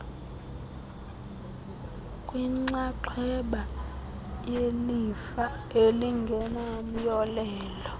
kwinxaxheba yelifa elingenamyolelo